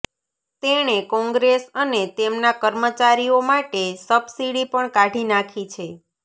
તેણે કોંગ્રેસ અને તેમના કર્મચારીઓ માટે સબસિડી પણ કાઢી નાખી છે